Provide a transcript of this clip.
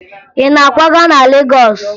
Ị na-akwaga na Legọọsụ?